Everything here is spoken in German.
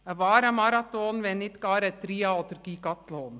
Ein wahrer Marathon, wenn nicht gar ein Tria- oder Gigathlon: